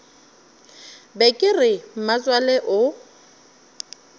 be ke re mmatswale o